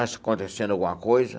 Acontecendo alguma coisa?